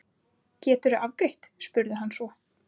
Geturðu afgreitt? spurði hann svo.